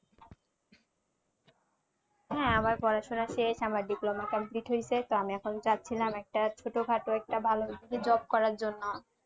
হ্যাঁ, আমার পড়াশোনা শেষ। আমার diploma complete হইসে তো আমি এখন চাচ্ছিলাম একটা ছোট খাটো একটা ভালো job করার জন্য।